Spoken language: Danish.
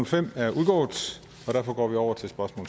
fem er udgået og derfor går vi over til spørgsmål